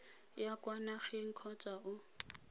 ya kwa nageng kgotsa o